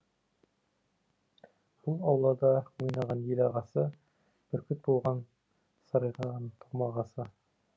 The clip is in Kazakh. бұл аулада ойнаған ел ағасы бүркіт болған сарғайған томағасы